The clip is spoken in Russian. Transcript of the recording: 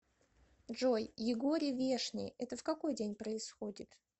джой егорий вешний это в какой день происходит